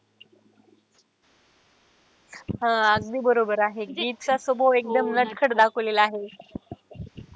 हा अगदी बरोबर आहे चा स्वभाव एकदम नटखट दाखवलेला आहे.